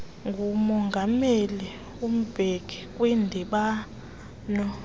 ngumongameli mbeki kwindibano